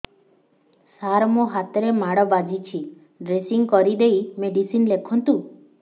ସାର ମୋ ହାତରେ ମାଡ଼ ବାଜିଛି ଡ୍ରେସିଂ କରିଦେଇ ମେଡିସିନ ଲେଖନ୍ତୁ